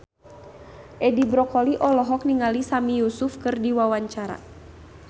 Edi Brokoli olohok ningali Sami Yusuf keur diwawancara